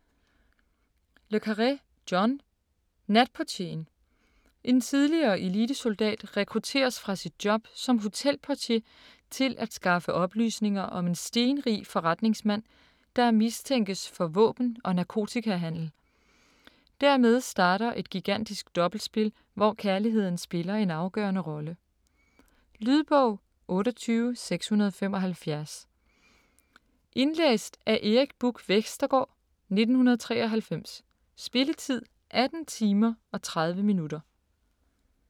Le Carré, John: Natportieren En tidligere elitesoldat rekrutteres fra sit job som hotelportier til at skaffe oplysninger om en stenrig forretningsmand, der mistænkes for våben- og narkotikahandel. Dermed starter et gigantisk dobbeltspil, hvor kærlighed spiller en afgørende rolle. Lydbog 28675 Indlæst af Erik Buch Vestergaard, 1993. Spilletid: 18 timer, 30 minutter.